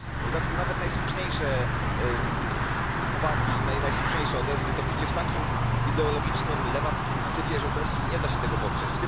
W dodatku nawet najsłuszniejsze uwagi i najsłuszniejsze odezwy topicie w takim ideologicznym, lewackim syfie, że po prostu nie da się tego poprzeć.